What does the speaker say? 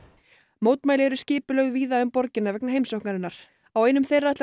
mótmæli eru skipulögð víða um borgina vegna heimsóknarinnar á einum þeirra ætlar